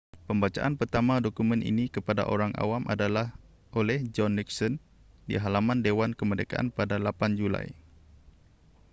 pembacaan pertama dokumen ini kepada orang awam adalah oleh john nixon di halaman dewan kemerdekaan pada 8 julai